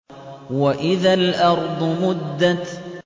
وَإِذَا الْأَرْضُ مُدَّتْ